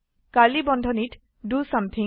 curly বন্ধনীত the something